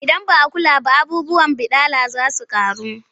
Idan ba a kula ba abubuwan baɗala za su ƙaru.